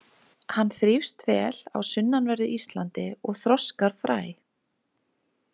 Hann þrífst vel á sunnanverðu Íslandi og þroskar fræ.